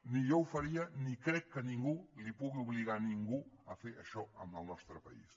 ni jo ho faria ni crec que ningú pugui obligar a ningú a fer això en el nostre país